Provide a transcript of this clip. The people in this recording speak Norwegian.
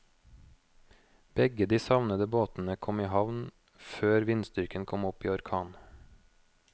Begge de savnede båtene kom i havn før vindstyrken kom opp i orkan.